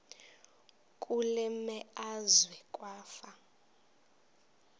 kule meazwe kwafa